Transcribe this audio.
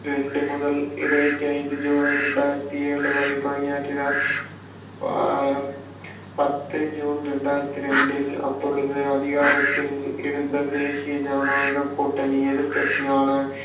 ரெண்டு முதல் இருபத்தி ஐந்து சூலை இரண்டாயிரத்தி ஏழு வரை பணியாற்றினார் ஆஹ் பத்து ஜூன் இரண்டாயிரத்தி ரெண்டில் அப்பொழுது அதிகாரத்தில் இருந்த தேசிய ஜனநாயகக் கூட்டணி எதிர்க்கட்சியான